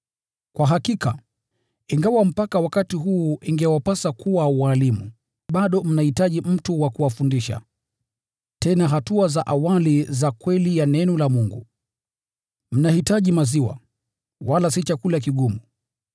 Kwa hakika, ingawa mpaka wakati huu ingewapasa kuwa walimu, bado mnahitaji mtu wa kuwafundisha tena hatua za awali za kweli ya Neno la Mungu. Mnahitaji maziwa, wala si chakula kigumu!